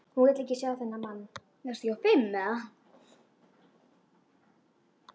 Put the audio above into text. Hún vill ekki sjá þennan mann.